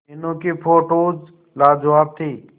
मीनू की फोटोज लाजवाब थी